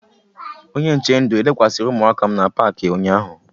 Onye nche ndụ elekwasịrị ụmụaka m n'Paakị ụnyaahụ?